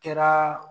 Kɛra